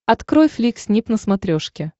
открой флик снип на смотрешке